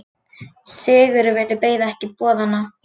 Sigurvin beið ekki boðanna.